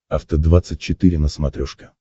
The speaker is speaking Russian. афта двадцать четыре на смотрешке